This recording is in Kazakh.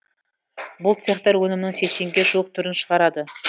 бұл цехтар өнімнің сексенге жуық түрін шығарады